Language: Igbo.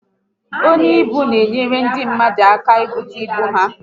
Onye ibu n'enyere ndi mmadu aka n'bute ibu ha